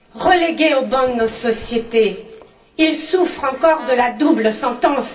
Relégués au ban de nos sociétés, ils souffrent encore de la double sentence.